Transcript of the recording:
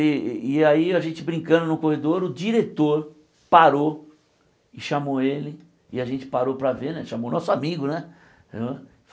E e aí, a gente brincando no corredor, o diretor parou e chamou ele, e a gente parou para ver né, chamou nosso amigo, né?